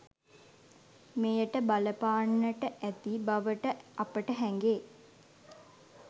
මෙයට බලපාන්නට ඇති බවට අපට හැඟේ.